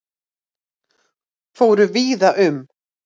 Fóru víða um